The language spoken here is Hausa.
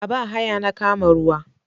A ba haya na kama ruwa.